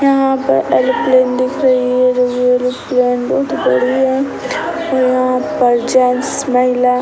यहाँ पर ऐरोप्लेन दिख रही है जो कि एरोप्लेन बहुत बड़ी है और यहाँ पर जेंट्स महिला --